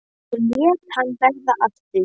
Nú lét hann verða af því.